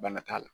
Bana t'a la